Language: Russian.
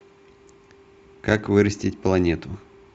как вырастить планету